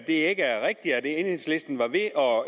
ikke er rigtigt at enhedslisten var ved at